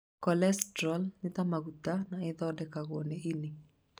Cholesterol nĩ ta maguta na ĩthondekagwo nĩ ini